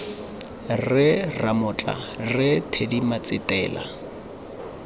rre ramotla rre teddy matsetela